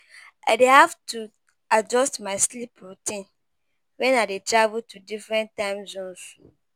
I dey have to adjust my sleep routine when I dey travel to different time zones.